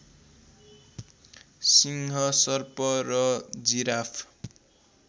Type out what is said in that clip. सिंह सर्प र जिराफ